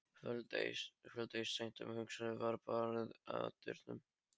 Kvöld eitt seint um haustið var barið að dyrum.